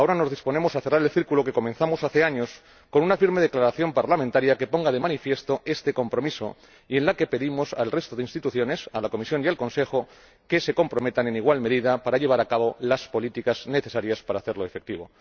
Ahora nos disponemos a cerrar el círculo que comenzamos hace años con una firme declaración parlamentaria que pone de manifiesto este compromiso y en la que pedimos al resto de instituciones —a la Comisión y al Consejo— que se comprometan en igual medida para llevar a cabo las políticas necesarias para hacerlo efectivo.